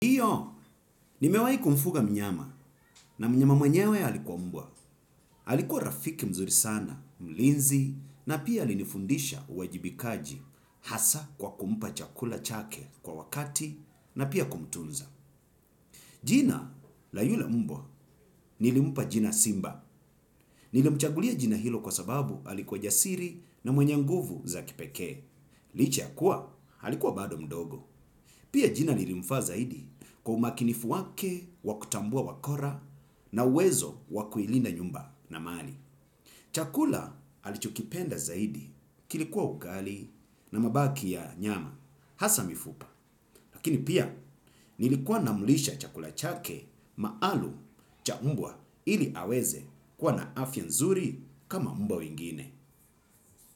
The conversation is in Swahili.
Ndio, nimewai kumfuga mnyama na mnyama mwenyewe alikuwa mbwa. Alikuwa rafiki mzuri sana, mlinzi, na pia alinifundisha uwajibikaji hasa kwa kumpa chakula chake kwa wakati na pia kumtunza. Jina, la yule mbwa, nilimpa jina simba. Nilimchagulia jina hilo kwa sababu alikua jasiri na mwenye nguvu za kipekee licha ya kuwa alikuwa bado mdogo. Pia jina lilimfaa zaidi kwa umakinifu wake wakutambua wakora na uwezo wakuilinda nyumba na mali. Chakula alichokipenda zaidi kilikuwa ugali na mabaki ya nyama hasa mifupa. Lakini pia nilikuwa namulisha chakula chake maalum cha mbwa ili aweze kwa na afya nzuri kama mbwa wengine.